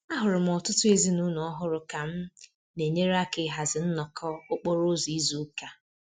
Ahụrụ m ọtụtụ ezinụlọ ọhụrụ ka m na-enyere aka ịhazi nnọkọ okporo ụzọ izu ụka